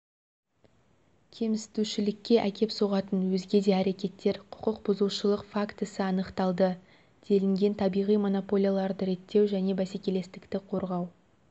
кемсітушілікке әкеп соғатын өзге де әрекеттер құқықбұзушылық фактісі анықталды делінген табиғи монополияларды реттеу және бәсекелестікті қорғау